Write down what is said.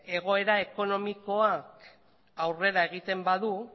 egoera ekonomikoa aurrera egiten badu